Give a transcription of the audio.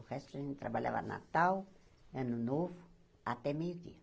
O resto a gente trabalhava Natal, Ano Novo, até meio-dia.